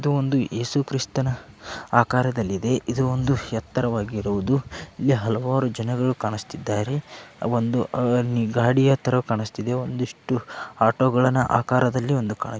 ಇದು ಒಂದು ಯೇಸು ಕ್ರಿಸ್ತನ ಆಕಾರದಲ್ಲಿದೆ. ಇದು ಒಂದು ಎತ್ತರವಾಗಿರುವುದು ಹಾಗೆ ಹಲವಾರು ಜನಗಳು ಕಾಣಿಸುತ್ತಾ ಇದ್ದಾರೆ. ಒಂದು ಗಾಡಿಯ ತರ ಕಾಣಿಸುತ್ತಾ ಇದೆ. ಒಂದಿಷ್ಟು ಆಟೋ ಆಕಾರದಲ್ಲಿ ಕಾಣು--